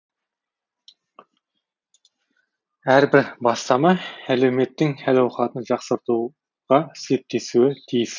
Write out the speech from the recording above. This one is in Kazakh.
әрбір бастама әлеуметтің әл ауқатын жақсартуға септесуі тиіс